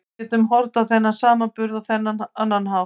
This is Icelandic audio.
Við getum horft á þennan samburð á annan hátt.